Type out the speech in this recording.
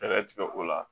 Fɛɛrɛ tigɛ o la